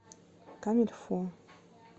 комильфо